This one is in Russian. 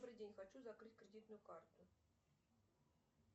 добрый день хочу закрыть кредитную карту